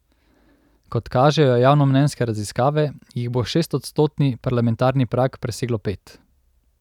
Kot kažejo javnomnenjske raziskave, jih bo šestodstotni parlamentarni prag preseglo pet.